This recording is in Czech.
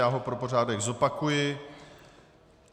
Já ho pro pořádek zopakuji.